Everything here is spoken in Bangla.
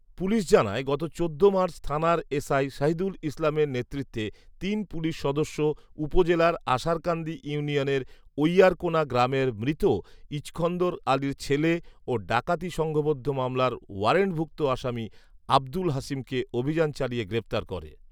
পুলিশ জানায়, গত চোদ্দ মার্চ থানার এসআই শহিদুল ইসলামের নেতৃত্বে তিন পুলিশ সদস্য উপজেলার আশারকান্দি ইউনিয়নের ঐয়ারকোণা গ্রামের মৃত ইছকন্দর আলীর ছেলে ও ডাকাতি সংঘবদ্ধ মামলার ওয়ারেন্টভুক্ত আসামি আব্দুল হাশিমকে অভিযান চালিয়ে গ্রেপ্তার করে